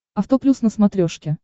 авто плюс на смотрешке